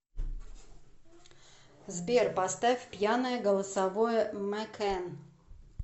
сбер поставь пьяное голосовое мэкэн